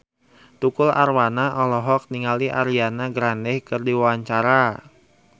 Tukul Arwana olohok ningali Ariana Grande keur diwawancara